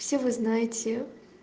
все вы знаете